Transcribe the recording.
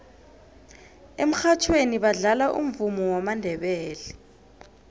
emurhatjhweni badlala umvumo wamandebele